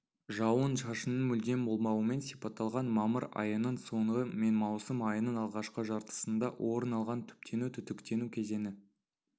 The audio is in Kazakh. жауын-шашынның мүлдем болмауымен сипатталған мамыр айының соңы мен маусым айының алғашқы жартысында орын алған түптену-түтіктену кезеңі